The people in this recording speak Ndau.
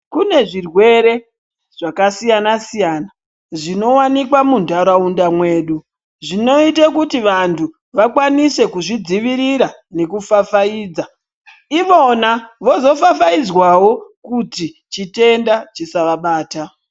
Kune zvirwere zvakasiyana-siyana zvinowanikwa mundaraunda mwedu, zvinoyita kuti vantu vakwanise kuzvidzivirira nekufafayidza, ivona vozofafayidzwawo kuti chitenda chisavabata.